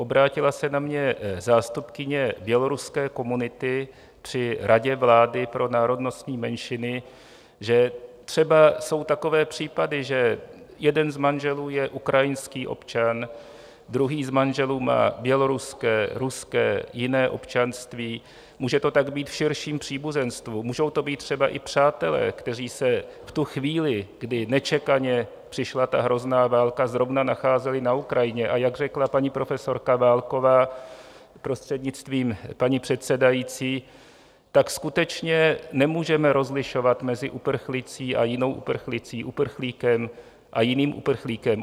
Obrátila se na mě zástupkyně běloruské komunity při Radě vlády pro národnostní menšiny, že třeba jsou takové případy, že jeden z manželů je ukrajinský občan, druhý z manželů má běloruské, ruské, jiné občanství, může to tak být v širším příbuzenstvu, můžou to být třeba i přátelé, kteří se v tu chvíli, kdy nečekaně přišla ta hrozná válka, zrovna nacházeli na Ukrajině, a jak řekla paní profesorka Válková, prostřednictvím paní předsedající, tak skutečně nemůžeme rozlišovat mezi uprchlicí a jinou uprchlicí, uprchlíkem a jiným uprchlíkem.